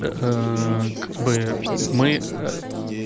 как бы мы